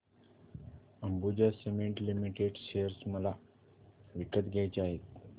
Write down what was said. Ambuja cement limited share मला विकत घ्यायचे आहेत